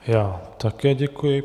Já také děkuji.